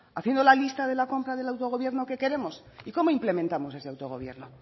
haciendo la lista de la compra del autogobierno que queremos y cómo implementamos ese autogobierno